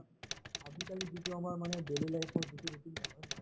আজিকালি যিটো আমাৰ মানে daily life ৰ যিটো routine মানে হয় নে নহয়